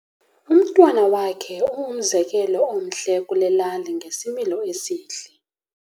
Umntwana wakhe ungumzekelo omhle kule lali ngesimilo esihle.